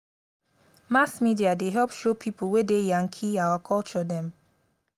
mass media dey help show pipo wey dey yankee our culture dem.